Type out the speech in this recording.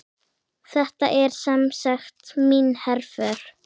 Þetta er semsagt mín herför.